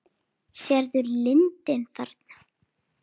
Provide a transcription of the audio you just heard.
Sérðu lundinn þarna?